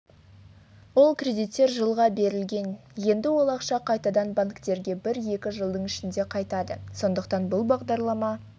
ол кредиттер жылға берілген енді ол ақша қайтадан банктерге бір-екі жылдың ішінде қайтады сондықтан бұл бағдарлама